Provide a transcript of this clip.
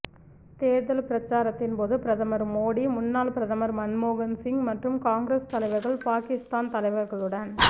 தேர்தல் பிரசாரத்தின் போது பிரதமர் மோடி முன்னாள் பிரதமர் மன்மோகன் சிங் மற்றும் காங்கிரஸ் தலைவர்கள் பாகிஸ்தான் தலைவர்களுடன்